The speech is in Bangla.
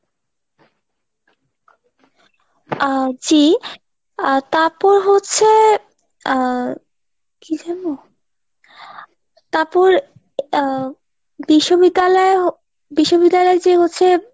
আহ জি আহ তারপর হচ্ছে আহ কি যেন? তারপর আহ বিশ্ববিদ্যালয় বিশ্ববিদ্যালয়ে যে হচ্ছে